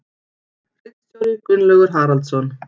Ritstjóri Gunnlaugur Haraldsson.